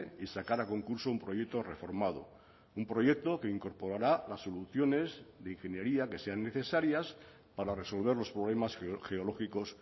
y sacar a concurso un proyecto reformado un proyecto que incorporará las soluciones de ingeniería que sean necesarias para resolver los problemas geológicos